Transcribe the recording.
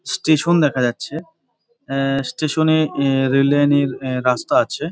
Station দেখা যাচ্ছে অ্যা স্টেশন -এ অ্যা রেল লাইনের অ্যা রাস্তা আছে।